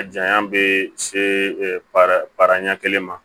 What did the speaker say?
A janya bɛ se para paraɲɛ kelen ma